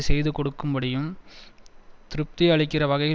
செய்து கொடுக்கும்படியும் திருப்தி அளிக்கிற வகையில்